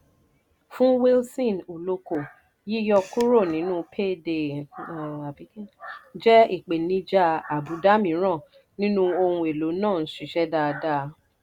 fún wilson uloko yíyọ kúrò nínú payday jẹ́ ìpèníjà àbùdá mìíràn nínú ohun èlò náà ń ṣiṣẹ́ dáadáa.